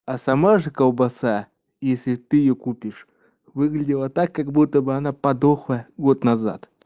а сама же колбаса если ты её купишь выглядела так как будто бы она подохла год назад